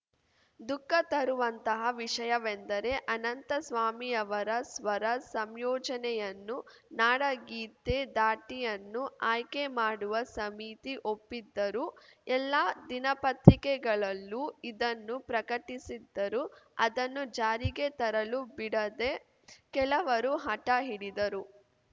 ದುಃಖ ತರುವಂತಹ ವಿಷಯವೆಂದರೆ ಅನಂತಸ್ವಾಮಿಯವರ ಸ್ವರ ಸಂಯೋಜನೆಯನ್ನು ನಾಡಗೀತೆ ಧಾಟಿಯನ್ನು ಆಯ್ಕೆ ಮಾಡುವ ಸಮಿತಿ ಒಪ್ಪಿದ್ದರೂ ಎಲ್ಲಾ ದಿನಪತ್ರಿಕೆಗಳಲ್ಲೂ ಇದನ್ನು ಪ್ರಕಟಿಸಿದ್ದರೂ ಅದನ್ನು ಜಾರಿಗೆ ತರಲು ಬಿಡದೆ ಕೆಲವರು ಹಟ ಹಿಡಿದರು